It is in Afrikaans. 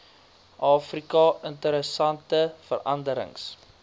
afrika interessante veranderings